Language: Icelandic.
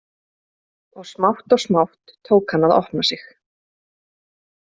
Og smátt og smátt tók hann að opna sig.